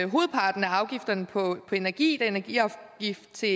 hovedparten af afgifterne på energi da energiafgift til